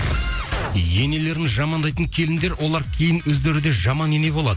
енелерін жамандайтын келіндер олар кейін өздері де жаман ене болады